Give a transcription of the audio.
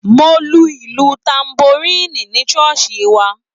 Mo lu ìlù tanboríìnì ní ṣọ́ọ̀ṣì wa